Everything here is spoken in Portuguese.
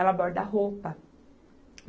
Ela borda roupa.